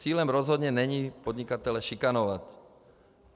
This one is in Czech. Cílem rozhodně není podnikatele šikanovat.